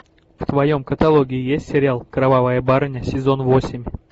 в твоем каталоге есть сериал кровавая барыня сезон восемь